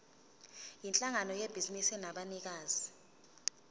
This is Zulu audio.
yinhlangano yebhizinisi enabanikazi